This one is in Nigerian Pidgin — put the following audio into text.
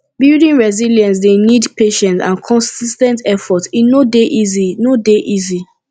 building resilience dey need patience and consis ten t effort e no dey easy no dey easy